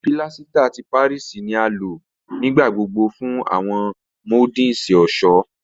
Pílásítà ti Páríìsì ni a lò nígbà gbogbo fún àwọn moldings ọ̀ṣọ́.